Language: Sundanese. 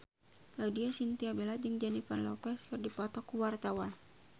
Laudya Chintya Bella jeung Jennifer Lopez keur dipoto ku wartawan